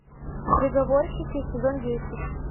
переговорщики сезон десять